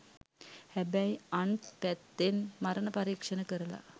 හැබැයි අන්ත් පැත්තෙන් මරණ පරීක්ෂණ කරල